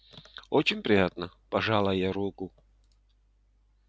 очень приятно пожала я руку